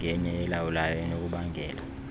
engenye elawulayo enokubangela